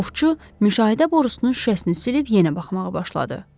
Ovçu müşahidə borusunun şüşəsini silib yenə baxmağa başladı.